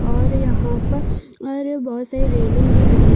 और यहाँ पर बहुत साड़ी रैलिंग भी लगी हुई है।